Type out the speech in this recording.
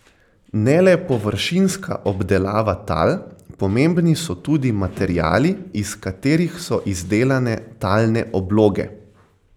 Ne le površinska obdelava tal, pomembni so tudi materiali, iz katerih so izdelane talne obloge.